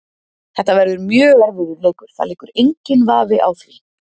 Þetta verður mjög erfiður leikur, það liggur enginn vafi á því.